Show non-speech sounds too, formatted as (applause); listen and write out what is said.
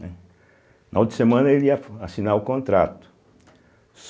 (unintelligible) Na outra semana ele ia assinar o contrato